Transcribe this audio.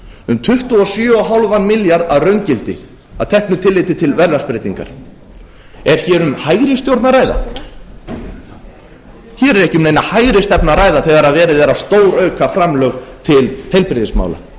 um tuttugu og sjö og hálfan milljarð að raungildi að teknu tilliti til verðlagsbreytinga er hér um hægri stjórn að ræða hér er ekki um neina hægri stefnu að ræða þegar verið er að stórauka framlög til heilbrigðismála